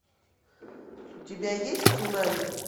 у тебя есть цунами